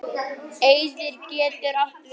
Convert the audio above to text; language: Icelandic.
Eyðir getur átt við